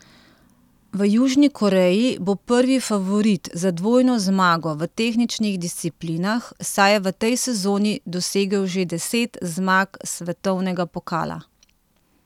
V Južni Koreji bo prvi favorit za dvojno zmago v tehničnih disciplinah, saj je v tej sezoni dosegel že deset zmag svetovnega pokala.